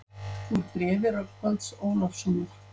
Úr bréfi Rögnvalds Ólafssonar